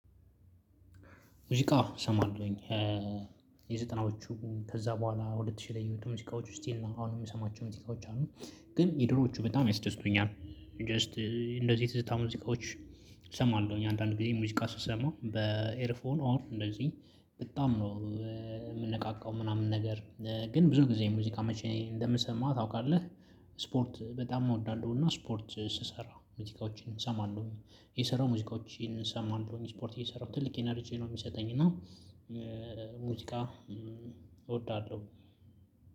ሙዚቃ እሰማለሁኝ የዘጠናዎቹ ከዛ በኋላ ሁለት ሺህ ላይ የምትሉትን ሙዚቃዎች ስቲል አሁን የምሰማቸው ሙዚቃዎች አሉ ግን የድሮዎቹ በጣም ያስደስቱኛል። ጀስት እንደዚህ ትዝታ ሙዚቃዎች እሰማለሁኝ አንዳንድ ጊዜ ሙዚቃ ስሰማ በኤርፎን ኦን እንደዚህ በጣም ነው የምነቃቃው። ምናምን ነገር ግን ብዙ ጊዜ ሙዚቃ መቼ እንደምሰማ ታውቃለህ? ስፖርት በጣም እወዳለሁ። እና ስፖርት ስሰራ ሙዚቃዎችን እሰማለሁኝ የሰራው ሙዚቃዎችን እሰማለሁኝ ስፖርት እየሰራሁ ትልቅ ኢነርጂ ነው የሚሰጠኝ። እና ሙዚቃ እወዳለሁ።